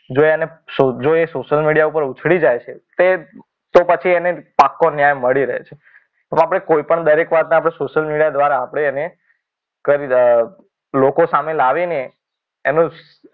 જો એ social media ઉપર ઉછડી જાય છે તો એને પાક્કો ન્યાય મળી રહે છે. તો કોઈપણ વાતને દરેક વાતને આપણે સોશિયલ મીડિયા દ્વારા આપણે એને કરી લોકો સામે લાવીને એનું.